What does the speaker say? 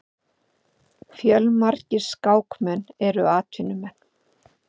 Fjölmargir skákmenn eru atvinnumenn.